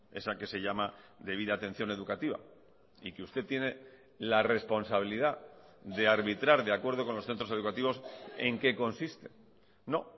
esa que se llama debida atención educativa y que usted tiene la responsabilidad de arbitrar de acuerdo con los centros educativos en qué consiste no